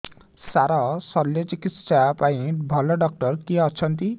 ସାର ଶଲ୍ୟଚିକିତ୍ସା ପାଇଁ ଭଲ ଡକ୍ଟର କିଏ ଅଛନ୍ତି